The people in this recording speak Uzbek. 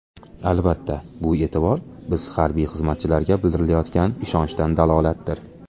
Albatta, bu e’tibor biz harbiy xizmatchilarga bildirilayotgan ishonchdan dalolatdir.